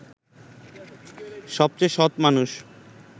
সবচেয়ে সৎ মানুষ